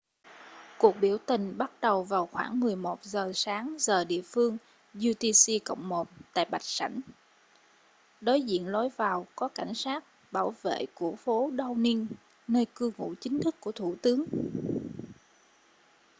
cuộc biểu tình bắt đầu vào khoảng 11:00 giờ sáng giờ địa phương utc + 1 tại bạch sảnh đối diện lối vào có cảnh sát bảo vệ của phố downing nơi cư ngụ chính thức của thủ tướng